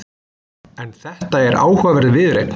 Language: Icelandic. En þetta er áhugaverð viðureign.